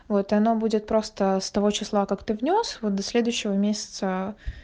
вот оно будет просто с того числа как ты внёс вот до следующего месяца